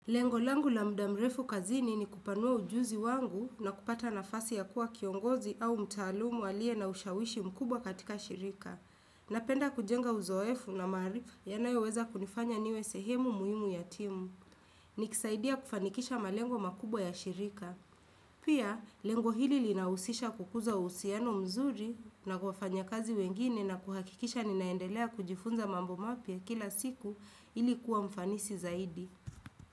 Lengo langu la mda mrefu kazini ni kupanua ujuzi wangu na kupata nafasi ya kuwa kiongozi au mtaalumu alie na ushawishi mkubwa katika shirika. Napenda kujenga uzoefu na marifu yanayo weza kunifanya niwe sehemu muhimu yatimu. Nikisaidia kufanikisha malengo makubwa ya shirika. Pia, lengo hili linausisha kukuza usiano mzuri na kufanya kazi wengine na kuhakikisha ninaendelea kujifunza mambo mapia kila siku ilikuwa mfanisi zaidi.